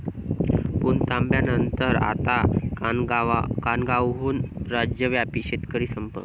पुणतांब्यानंतर आता कानगावहून राज्यव्यापी शेतकरी संप